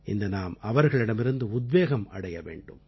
இன்று நாம் அவர்களிடமிருந்து உத்வேகம் அடைய வேண்டும்